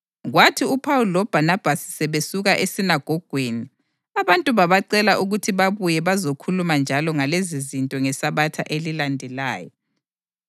Kwathi uPhawuli loBhanabhasi sebesuka esinagogweni abantu babacela ukuthi babuye bazokhuluma njalo ngalezizinto ngeSabatha elilandelayo.